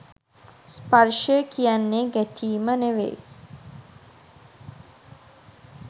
ස්පර්ශය කියන්නෙ ගැටීම නෙවෙයි.